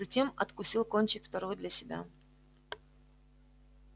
затем откусил кончик второй для себя